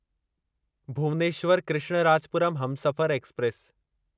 Bhubaneswar Krishnarajapuram Humsafar express